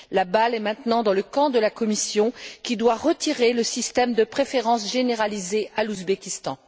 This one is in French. La balle est maintenant dans le camp de la Commission, qui doit retirer le système de préférences généralisées à l'Ouzbékistan.